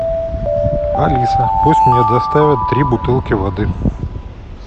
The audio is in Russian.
алиса пусть мне доставят три бутылки воды